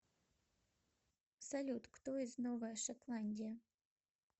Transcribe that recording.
салют кто из новая шотландия